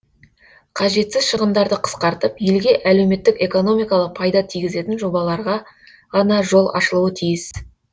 қажетсіз шығындарды қысқартып елге әлеуметтік экономикалық пайда тигізетін жобаларға ғана жол ашылуы тиіс